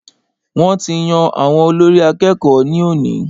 Wọ́n ti yan àwọn olórí àkẹ́kọ̀ọ ní òní.